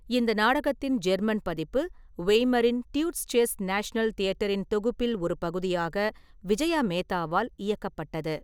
இந்த நாடகத்தின் ஜெர்மன் பதிப்பு, வெய்மரின் ட்யூட்ஸ்செஸ் நேஷனல் தியட்டரின் தொகுப்பில் ஒரு பகுதியாக, விஜயா மேத்தாவால் இயக்கப்பட்டது.